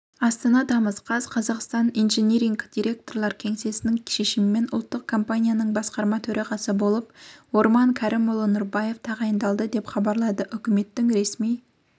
астана тамыз қаз қазақстан инжиниринг директорлар кеңесінің шешімімен ұлттық компанияның басқарма төрағасы болып орман кәрімұлы нұрбаев тағайындалды деп хабарлады үкіметінің ресми